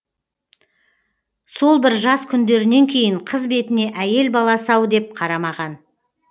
сол бір жас күндерінен кейін қыз бетіне әйел баласы ау деп қарамаған